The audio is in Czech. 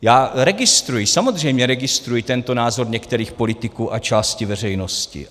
Já registruji, samozřejmě registruji tento názor některých politiků a části veřejnosti.